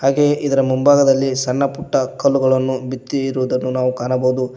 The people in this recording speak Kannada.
ಹಾಗೆ ಇದರ ಮುಂಭಾಗದಲ್ಲಿ ಸಣ್ಣ ಪುಟ್ಟ ಕಲ್ಲುಗಳನ್ನು ಬಿದ್ದಿರುವುದನ್ನು ನಾವು ಕಾಣಬಹುದು.